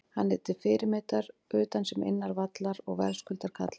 Hann er til fyrirmyndar utan sem innan vallar og verðskuldar kallið.